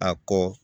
A kɔ